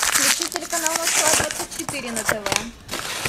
включи телеканал москва двадцать четыре на тв